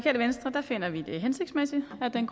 er en